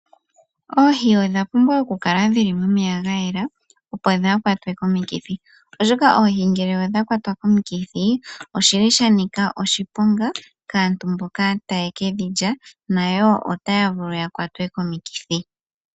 Oohi odha pumbwa okukala dhili momeya gayela opo dha kwatwe komikithi oshika oohi ngele odha kwatwa komikithi oshili sha nika oshiponga kaantu mboka aye kedhi lya nyo otaya vulu ya kwatwe komikithi.